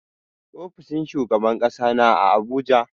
Ofishin shugaban ƙasa na a Abuja.